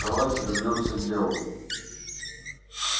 давайте вернёмся к делу